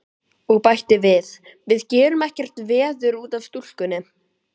Og bætti við: Við gerum ekkert veður út af stúlkunni.